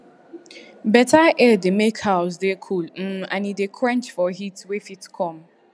better air dey make house dey cool um and e dey quench for heat wey fit come